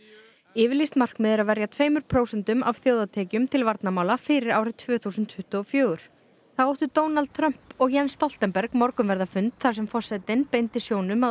yfirlýst markmið er að verja tveimur prósentum af þjóðartekjum til varnarmála fyrir árið tvö þúsund tuttugu og fjögur þá áttu Donald Trump og Jens Stoltenberg morgunverðarfund þar sem forsetinn beindi sjónum að